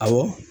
Awɔ